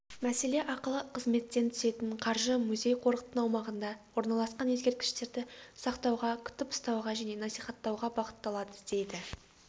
мәселе ақылы қызметтен түсетін қаржы музей-қорықтың аумағында орналасқан ескерткіштерді сақтауға күтіп-ұстауға және насихаттауға бағытталады дейді